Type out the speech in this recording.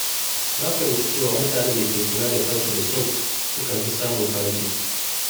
Na fahimci cewa mutanen da ke kula da kansu da kyau sukan fi samun farin ciki.